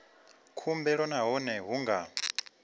khumbelo nahone a hu nga